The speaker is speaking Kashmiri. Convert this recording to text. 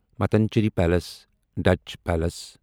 Mattancherry palace Dutch palace